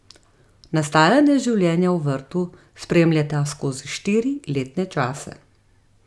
Nastajanje življenja v vrtu spremljata skozi štiri letne čase.